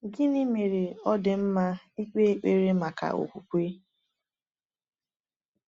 Gịnị mere ọ dị mma ịkpe ekpere maka okwukwe?